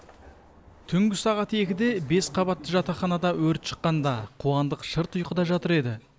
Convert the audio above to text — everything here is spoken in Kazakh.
түнгі сағат екіде бес қабатты жатақханада өрт шыққанда қуандық шырт ұйқыда жатыр еді